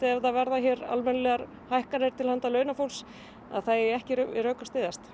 ef það verða hér almennilegar hækkanir til handa launafólks eigi ekki við rök að styðjast